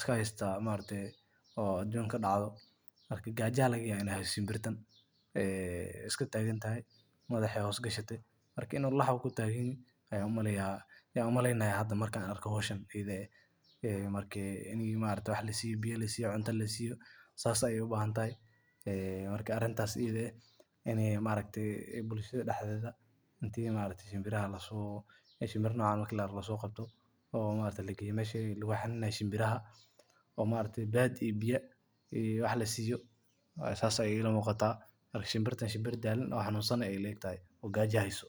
iska haystaa hawl aduunka ka dhacdo? Marka gaajo ayaa laga yaabaa in ay hayso shinbirtan ay iska deggan tahay, madaxa hawl gelin weyday. Marka in la xanuun ku taganyahay ayaan u maleynayaa. Hawsha markan markii la siiyo biyo, cunto la siiyo, saas ayey u baahan tahay. Marka arrinta noocaas bulshada waa in shinbiraha noocan la soo qabto laguna geeyo meesha shinbiraha lagu xannaaneeyo oo biyo iyo wax la siiyo. Saas ayey ila muuqataa. Marka shinbirtan shinbir daallan, xanuunsan oo gaajo haysa.